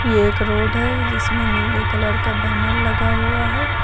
ये एक रोड है जिसमें नीले कलर का बैनर लगा हुआ है।